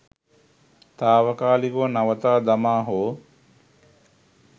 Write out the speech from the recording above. තාවකාලිකව නවතා දමා හෝ